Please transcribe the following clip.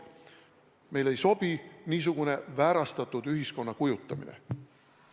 Meile ei sobi niisugune väärastatud ühiskonna kujutamine.